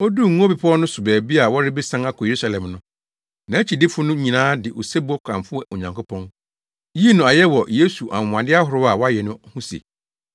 Oduu Ngo Bepɔw no so baabi a wɔrebesian akɔ Yerusalem no, nʼakyidifo no nyinaa de osebɔ kamfoo Onyankopɔn, yii no ayɛ wɔ Yesu anwonwade ahorow a wayɛ no ho se,